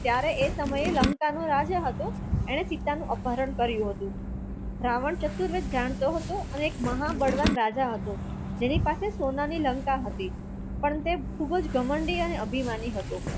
ત્યારે એ સમયે લંકા નો રાજા હતો એને સીતાનું અપહરણ કર્યું હતું રાવણ ચતુર્વેદ જાણતો હતો અને એક મહાબળવાન રાજા હતો જેની પાસે સોનાની લંકા હતી પણ તે ખૂબ જ ઘમંડી અને અભિમાની હતો